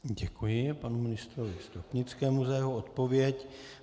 Děkuji panu ministrovi Stropnickému za jeho odpověď.